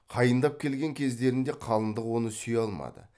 қайындап келген кездерінде қалыңдық оны сүйе алмады